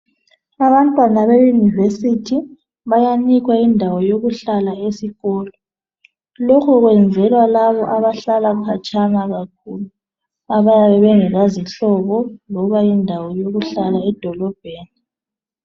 Abantwana be university bayanikwa indawo yokuhlala esikolo lokho kwenzelwa laba abahlala khatshana kakhulu abayabe bengela zihlobo loba indawo yokuhlala edolobheni